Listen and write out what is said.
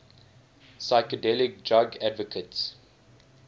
psychedelic drug advocates